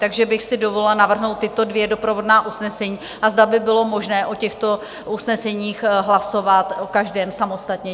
Takže bych si dovolila navrhnout tato dvě doprovodná usnesení a zda by bylo možné o těchto usneseních hlasovat o každém samostatně.